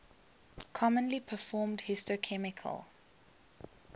commonly performed histochemical